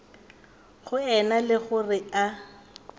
go ena le gore a